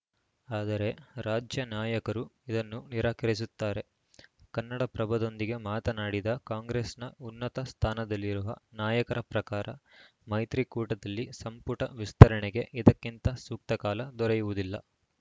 ಆದರೆ ರಾಜ್ಯ ನಾಯಕರು ಇದನ್ನು ನಿರಾಕರಿಸುತ್ತಾರೆ ಕನ್ನಡಪ್ರಭದೊಂದಿಗೆ ಮಾತನಾಡಿದ ಕಾಂಗ್ರೆಸ್‌ನ ಉನ್ನತ ಸ್ಥಾನದಲ್ಲಿರುವ ನಾಯಕರ ಪ್ರಕಾರ ಮೈತ್ರಿ ಕೂಟದಲ್ಲಿ ಸಂಪುಟ ವಿಸ್ತರಣೆಗೆ ಇದಕ್ಕಿಂತ ಸೂಕ್ತ ಕಾಲ ದೊರೆಯುವುದಿಲ್ಲ